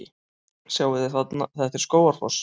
Sjáiði! Þetta er Skógafoss.